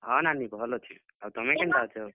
ହଁ, ନାନୀ ଭଲ୍ ଅଛେଁ, ଆଉ ତୁମେ କେନ୍ତା ଅଛ?